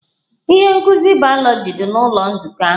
Ihe nkuzi bayoloji dị n'ụlọ nzukọ ahụ